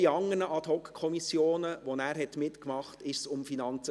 Auch in anderen Ad-hoc-Kommissionen, in denen er mitmachte, ging es um Finanzen.